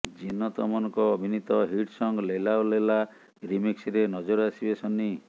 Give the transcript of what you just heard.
ଜିନତ ଅମନଙ୍କ ଅଭିନୀତ hit song Laila ଓ ଲୈଲା ରିମିକ୍ସରେ ନଜର ଆସିବେ ସନ୍ନି